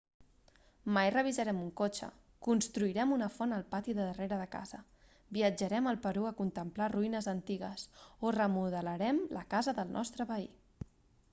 mai revisarem un cotxe construirem una font al pati del darrere de casa viatjarem al perú a contemplar ruïnes antigues o remodelarem la casa del nostre veí